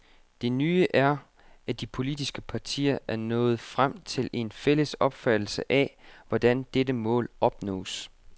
Det nye er, at de politiske partier er nået frem til en fælles opfattelse af, hvordan dette mål opnås.